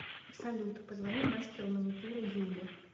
салют позвони мастеру маникюра юле